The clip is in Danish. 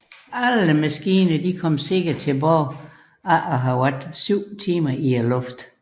Alle maskiner kom sikkert tilbage efter at have været 7 timer i luften